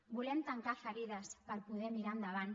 volem tancar ferides per poder mirar endavant